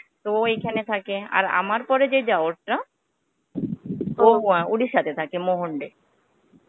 তো, ও এইখানে থাকে. আর আমার পরে যে দেওরটা ও Orissa তে থাকে মহন্ড এ.